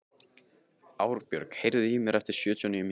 Árbjörg, heyrðu í mér eftir sjötíu og níu mínútur.